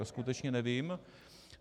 To skutečně nevím.